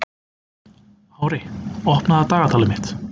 Ári, opnaðu dagatalið mitt.